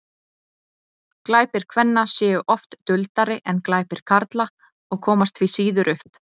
glæpir kvenna séu oft duldari en glæpir karla og komast því síður upp